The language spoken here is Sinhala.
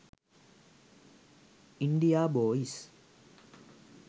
india boys